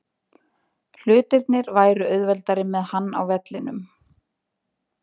Hlutirnir væru auðveldari með hann á vellinum.